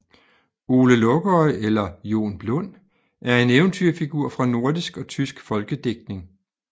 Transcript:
Ole Lukøje eller Jon Blund er en eventyrfigur fra nordisk og tysk folkedigtning